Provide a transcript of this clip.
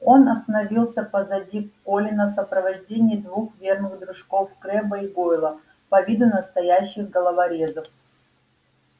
он остановился позади колина в сопровождении двух верных дружков крэбба и гойла по виду настоящих головорезов